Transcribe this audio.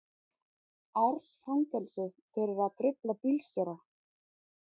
Árs fangelsi fyrir að trufla bílstjóra